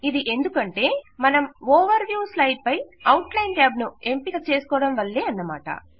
ఇది ఎందుకంటే మనం ఓవర్ వ్యూ స్లైడ్ పై అవుట్ లైన్ ట్యాబ్ ను ఎంపిక చేసుకోవడం వల్ల అన్నమాట